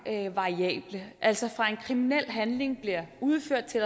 variable altså fra en kriminel handling bliver udført til